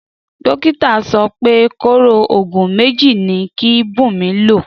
Dókítà so pé kóró ògùn méjì ni kí Bunmi lò